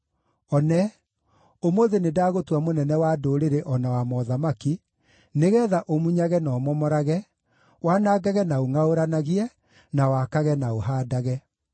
One, ũmũthĩ nĩndagũtua mũnene wa ndũrĩrĩ o na wa mothamaki, nĩgeetha ũmunyage na ũmomorage, wanangage na ũngʼaũranagie, na wakage na ũhaandage.”